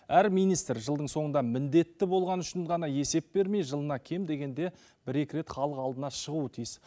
әр министр жылдың соңында міндетті болғаны үшін ғана есеп бермей жылына кем дегенде бір екі рет халық алдына шығуы тиіс